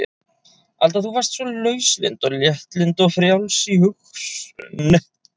Alda þú varst svo lauslynd og léttlynd og frjáls í hugsun.